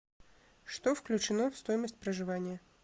что включено в стоимость проживания